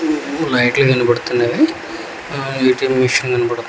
లైట్లు కనపడుతున్నవి ఆ ఏ_టి_ఎం మిషన్ కనబడతంద్.